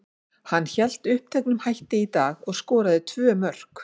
Hann hélt uppteknum hætti í dag og skoraði tvö mörk.